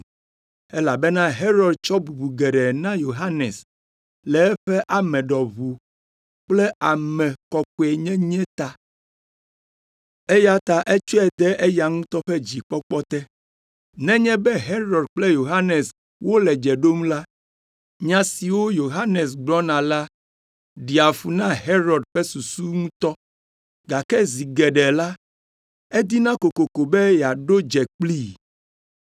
elabena Herod tsɔ bubu geɖe na Yohanes le eƒe ame ɖɔʋu kple ame kɔkɔenyenye ta, eya ta etsɔe de eya ŋutɔ ƒe dzikpɔkpɔ te. Nenye be Herod kple Yohanes wole dze ɖom la, nya siwo Yohanes gblɔna la ɖea fu na Herod ƒe susu ŋutɔ, gake zi geɖe la, edina kokoko be yeaɖo dze kplii.